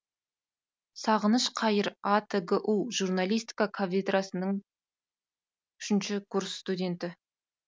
сағыныш қайыр атгу журналистика кафедрасының үшінші курс студенті